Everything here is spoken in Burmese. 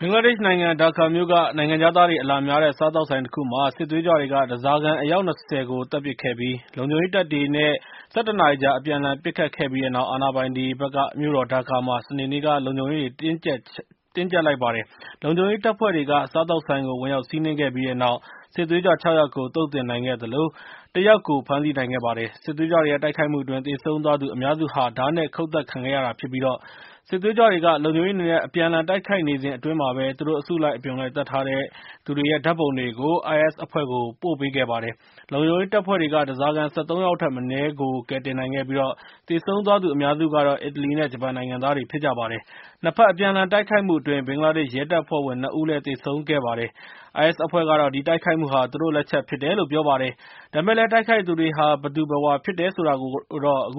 ဘင်္ဂလားဒေ့ရှ်နိုင်ငံ ဒါကာမြို့က နိုင်ငံခြားသားတွေ အလာများတဲ့ စားသောက်ဆိုင် တခုမှာ စစ်သွေးကြွတွေက ဓါးစာခံ အယောက် ၂၀ ကို သတ်ပစ်ပြီး၊ လုံခြုံရေး တပ်တွေ နဲ့ ၁၁ နာရီကြာ အပြန်အလှန် ပစ်ခတ်ခဲ့ပြီးတဲ့နောက် ၊ အာဏာပိုင်တွေ ဘက်က မြို့တော်ဒါကာမှာ စနေနေ့က လုံခြုံရေးတွေ တင်းကြပ်လိုက်ပါတယ်။ လုံခြုံရေး တပ်ဖွဲ့တွေက စားသောက်ဆိုင်ကို ဝင်ရောက်စီးနှင်းခဲ့ ပြီးတဲ့နောက်၊ စစ်သွေးကြွ ၆ ယောက်ကို သုတ်သင်နိုင် ခဲ့သလို၊ တစ်ယောက်ကို ဖမ်းဆီးနိုင်ခဲ့ ပါတယ်။ စစ်သွေးကြွတွေရဲ့ တိုက်ခိုက်မှုအတွင်း သေဆုံးသွားသူ အများစု ဓါးနဲ့ ခုတ်သတ် ခံခဲ့ရတာဖြစ်ပြီး၊ စစ်သွေးကြွတွေက လုံခြုံရေးတွေ နဲ့ အပြန်အလှန် တိုက်ခိုက်နေစဉ် အတွင်း သူတို့ အစုလိုက်အပြုံလိုက် သတ်ထားတဲ့ သူတွေရဲ့ ဓါတ်ပုံတွေကို IS အဖွဲ့ကို ပို့ပေးခဲ့ပါတယ်။ လုံခြုံရေး တပ်ဖွဲ့တွေက ဓါးစာခံ ၁၃ ယောက် ထက်မနည်း ကယ်တင်နိုင် ခဲ့ပြီး သေဆုံးသွားသူ အများစုကတော့ အီတလီ နဲ့ ဂျပန်နိုင်ငံသား တွေ ဖြစ်ကြပါတယ်။ နှစ်ဘက် အပြန်အလှန် တိုက်ခိုက်မှုအတွင်း ဘင်္ဂလားဒေ့ရှ် ရဲ တပ်ဖွဲ့ဝင် နှစ်ဦး သေဆုံးခဲ့ပါတယ်။ IS အဖွဲ့ကတော့ ဒီတိုက်ခိုက်မှုဟာ သူတို့ လက်ချက် ဖြစ်တယ်လို့ ပြောပါတယ်။ ဒါပေမဲ့လည်း တိုက်ခိုက်သူတွေဟာ ဘယ်သူဘယ်ဝါ ဖြစ်တယ် ဆိုတာကိုတော့ အတ